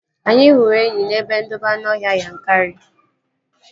Anyị hụrụ enyi n'ebe ndobe anụọhịa Yankari